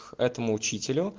этому учителю